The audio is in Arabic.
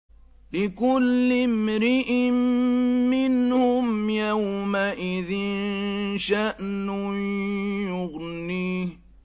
لِكُلِّ امْرِئٍ مِّنْهُمْ يَوْمَئِذٍ شَأْنٌ يُغْنِيهِ